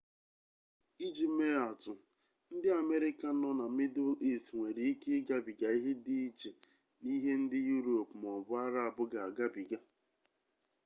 iji mee atụ ndị amerịka nọ na mịdụl ist nwere ike igabiga ihe dị iche n'ihe ndị yurop maọbụ arab ga-agabiga